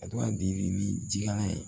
A to ka di ni jikala ye